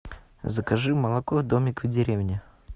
закажи молоко домик в деревне